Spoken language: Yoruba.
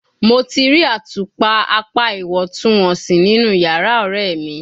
Mo ti ri atupa apa iwọntunwọnsi ninu yara ọrẹ mi